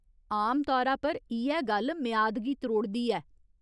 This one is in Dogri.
आमतौरा पर इ'यै गल्ल मेआद गी त्रोड़दी ऐ।